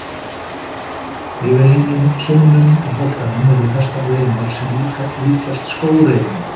Yfir einum saumnum á boltanum eru festar reimar sem líkjast skóreimum.